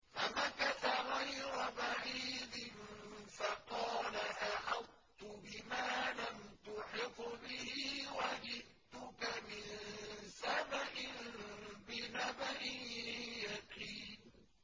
فَمَكَثَ غَيْرَ بَعِيدٍ فَقَالَ أَحَطتُ بِمَا لَمْ تُحِطْ بِهِ وَجِئْتُكَ مِن سَبَإٍ بِنَبَإٍ يَقِينٍ